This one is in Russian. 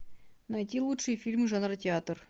найти лучшие фильмы жанра театр